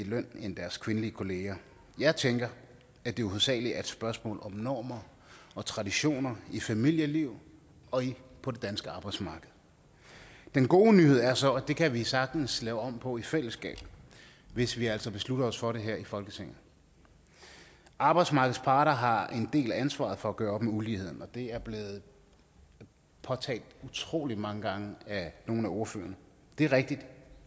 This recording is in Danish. løn end deres kvindelige kollegaer jeg tænker at det hovedsagelig er et spørgsmål om normer og traditioner i familieliv og på det danske arbejdsmarked den gode nyhed er så at det kan vi sagtens lave om på i fællesskab hvis vi altså beslutter os for det her i folketinget arbejdsmarkedets parter har en del af ansvaret for at gøre op med uligheden og det er blevet påtalt utrolig mange gange af nogle af ordførerne det er rigtigt